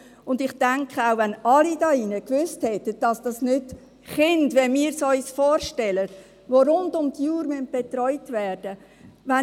Ich denke, wenn alle hier drinnen gewusst hätten, dass es keine Kinder sind, wie wir sie uns vorstellen, die rund um die Uhr betreut werden müssen;